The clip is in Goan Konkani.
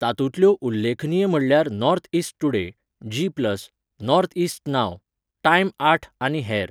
तातूंतल्यो उल्लेखनीय म्हटल्यार north east today, G plus, northeast now, time आठ आनी हेर.